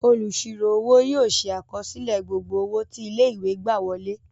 Onísirò owó yóò ṣe àkọsílẹ gbogbo owó tí ilé-ìwé gbà wọlé.